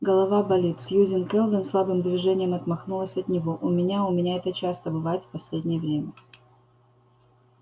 голова болит сьюзен кэлвин слабым движением отмахнулась от него у меня у меня это часто бывает в последнее время